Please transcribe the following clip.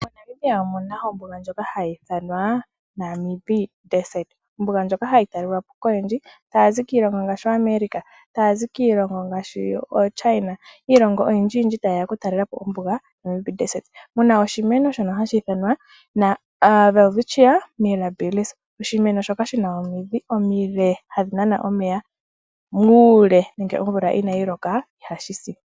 MoNamibia omuna ombuga ndjoka hayi ithanwa Namib desert. Ombuga ndjoka hayi talelwapo koyendji taa zi kiilongo ngaashi America. Taya zi kiilongo ngaashi ooChina. Oyindji yindji tayeya oku talelapo ombuga Namib desert. Muna oshimeno shono hashi ithanwa Welwitchia Mirrabills. Oshimeno shoka shina omidhi omile hadhi nana omeya muule. Nenge omvula inayi loka ihashi si.